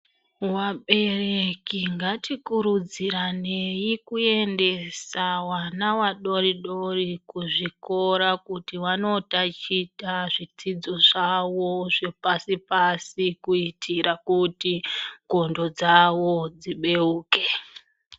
Vabereki ngatikurudziranei kuendesa wana wadori -dori kuzvikora kuti wandotaticha zvidzidzo zwawo zvepasi -pasi kuitira kuti ndxondo dzawo dzibeuke.